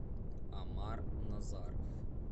омар назаров